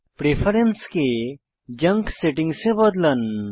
প্রেফারেন্সকে junk settings এ বদলান